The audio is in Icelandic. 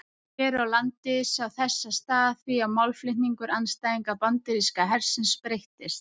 Hér á landi sá þessa stað í því að málflutningur andstæðinga bandaríska hersins breyttist.